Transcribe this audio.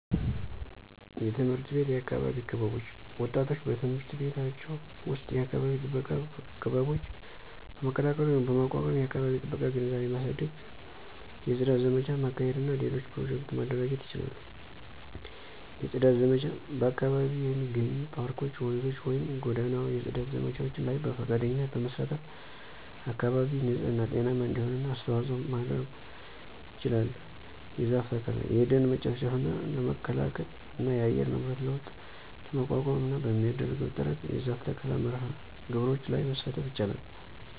_የትምህርት ቤት የአካባቢ ክበቦች ወጣቶች በትምህርት ቤቶቻቸው ዉስጥ የአካባቢ ጥበቃ ክበቦች በመቀላቀል ወይም በማቋቋም የአከባቢ ጥበቃ ግንዛቤ ማሳደግ፣ የጽዳት ዘመቻ ማካሄድ እና ሌሎች ኘሮጀክቱ ማደራጀት ይችላሉ። የጽዳት ዘመቻ በአካባቢው የሚገኙ የፓርኮች፣፧ ወንዞችን ወይም ጎዳናው የጽዳት ዘመቻዎች ላይ በፈቃደኝነት በመሳተፍ አካባቢ ንጽህና ጤናማ እንዲሆን አስተዋጽኦ ማድረጉ ይችላል። የዛፍ ተከላ። የደን መጨፍጨፍ ለመከላከል እና የአየር ንብረት ለውጥ ለመቋቋምና በሚደረገው ጥረት የዛፍ ተከላ መርሐ ግብሮች ላይ መሳተፍ ይችላል